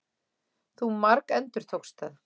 Þú margendurtókst það.